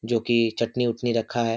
जो की चटनी उटनी रखा हैं।